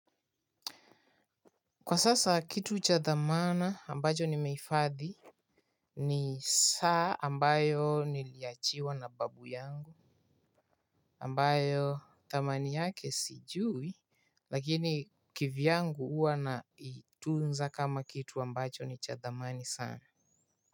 Kwa sasa kitu cha thamana ambayo nimehifadhi ni saa ambayo niliachiwa na babu yangu ambayo thamani yake sijui. Lakini kivyangu huwa naitunza kama kitu ambacho ni cha thamani sana.